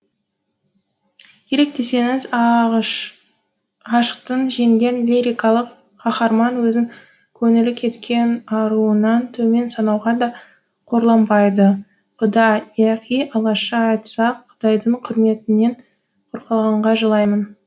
керек десеңіз ғашықтық жеңген лирикалық қаһарман өзін көңілі кеткен аруынан төмен санауға да қорланбайды құда яки алашша айтсақ құдайдың құрметінен құр қалғанға жылаймын